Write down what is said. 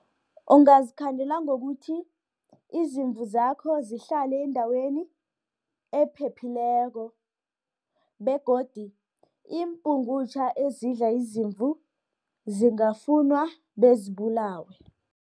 Ungazikhandela ngokuthi, izimvu zakho zihlale endaweni ephephileko, begodi iimpungutjha ezidla izimvu, zingafunwa bezibulawe.